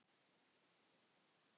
hugsar hann.